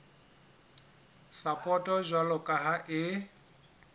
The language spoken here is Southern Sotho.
sapoto jwalo ka ha e